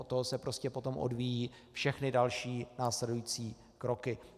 Od toho se prostě potom odvíjejí všechny další následující kroky.